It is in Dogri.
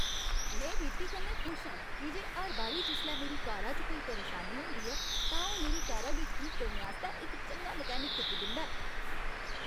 में वीपी कन्नै खुश आं की जे हर बारी जिसलै मेरी कारा च कोई परेशानी होंदी ऐ, तां ओह् मेरी कारा गी ठीक करने आस्तै इक चंगा मैकेनिक तुप्पी दिंदा ऐ।